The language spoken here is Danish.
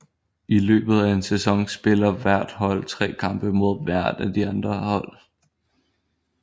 I løbet af en sæson spiller hvert hold tre kampe mod hvert af de andre hold